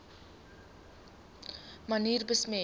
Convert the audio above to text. manier besmet